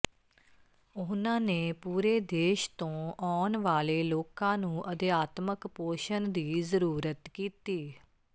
ਉਹਨਾਂ ਨੇ ਪੂਰੇ ਦੇਸ਼ ਤੋਂ ਆਉਣ ਵਾਲੇ ਲੋਕਾਂ ਨੂੰ ਅਧਿਆਤਮਕ ਪੋਸ਼ਣ ਦੀ ਜ਼ਰੂਰਤ ਕੀਤੀ